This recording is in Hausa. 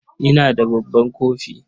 Ina da babban kofi.